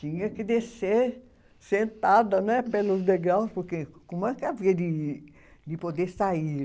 Tinha que descer sentada né pelos degraus, porque como havia de de poder sair?